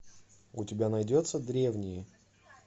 у тебя найдется древние